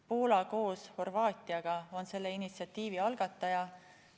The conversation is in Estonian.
Poola koos Horvaatiaga on selle initsiatiivi algataja.